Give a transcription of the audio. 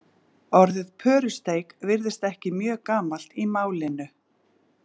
Orðið pörusteik virðist ekki mjög gamalt í málinu.